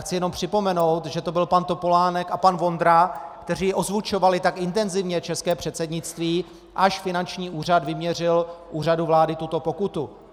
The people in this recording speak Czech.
Chci jenom připomenout, že to byl pan Topolánek a pan Vondra, kteří ozvučovali tak intenzivně české předsednictví, až finanční úřad vyměřil Úřadu vlády tuto pokutu.